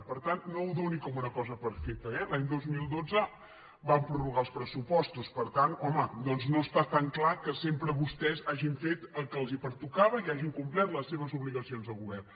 per tant no ho doni per una cosa feta eh l’any dos mil dotze van prorrogar els pressupos·tos per tant doncs home no està tan clar que sempre vostès hagin fet el que els pertocava i hagin complert les seves obligacions de govern